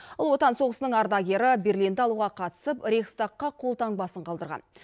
ұлы отан соғысының ардагері берлинді алуға қатысып рейхстагқа қолтаңбасын қалдырған